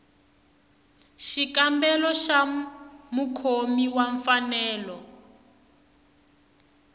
xikombelo xa mukhomi wa mfanelo